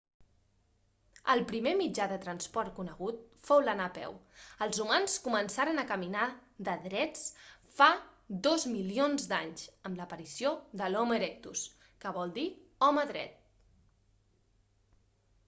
el primer mitjà de transport conegut fou l'anar a peu els humans començaren a caminar de drets fa dos milions d'anys amb l'aparició de l'homo erectus que vol dir home dret